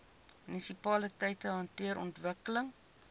munisipaliteite hanteer ontwikkeling